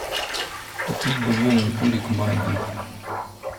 купить бульонный кубик магги